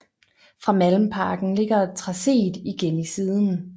Fra Malmparken ligger tracéet igen i siden